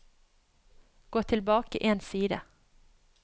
Gå tilbake én side